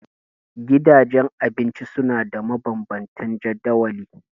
Gidajen abinci suna da mabanban tan jadawali.